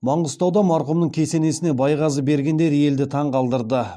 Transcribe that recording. маңғыстауда марқұмның кесенесіне байғазы бергендер елді таң қалдырды